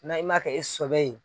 N'a yi m'a kɛ e sɔbɛ ye